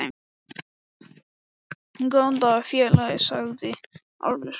Góðan daginn, félagi, sagði Álfur hressilega.